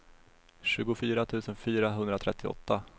tjugofyra tusen fyrahundratrettioåtta